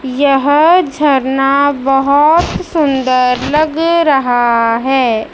यह झरना बहोत सुंदर लग रहा है।